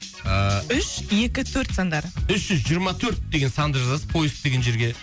ыыы үш екі төрт сандары үш жүз жиырма төрт деген санды жазасыз поиск деген жерге